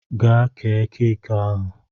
Gaa kee keeki ahụ!